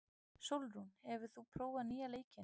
Sólrún, hefur þú prófað nýja leikinn?